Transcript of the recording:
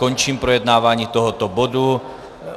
Končím projednávání tohoto bodu.